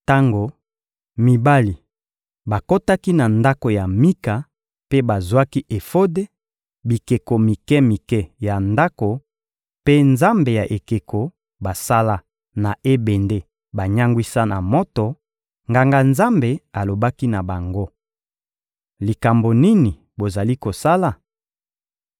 Tango mibali bakotaki na ndako ya Mika mpe bazwaki efode, bikeko mike-mike ya ndako mpe nzambe ya ekeko basala na ebende banyangwisa na moto, nganga-nzambe alobaki na bango: — Likambo nini bozali kosala?